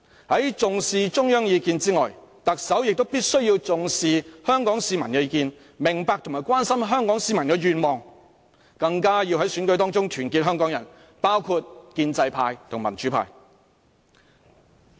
除重視中央意見外，特首亦必須重視香港市民的意見，明白和關心香港市民的願望，更要在選舉中團結香港人，包括建制派和民主派。